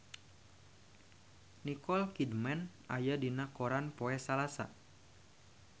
Nicole Kidman aya dina koran poe Salasa